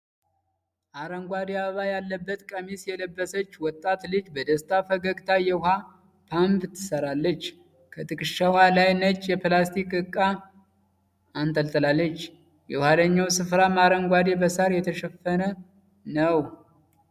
አረንጓዴ፣ አበባ ያለበት ቀሚስ የለበሰች ወጣት ልጅ በደስታ ፈገግታ የውኃ ፓምፕ ትሠራለች። ከትከሻዋ ላይ ነጭ የፕላስቲክ ዕቃ አንጠልጥላለች፤ የኋላው ስፍራም አረንጓዴ በሣር የተሸፈነ ነው።